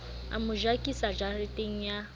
a mo jakisa jareteng ya